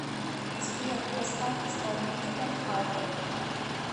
сбер поставь исполнителя фарго